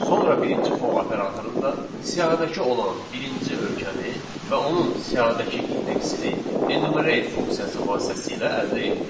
Sonra birinci for operatorunda siyahıdakı olan birinci ölkəni və onun siyahıdakı indeksini enumerate funksiyası vasitəsilə əldə etdik.